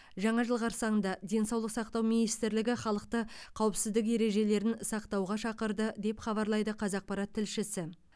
жаңа жыл қарсаңында денсаулық сақтау министрлігі халықты қауіпсіздік ережелерін сақтауға шақырды деп хабарлайды қазақпарат тілшісі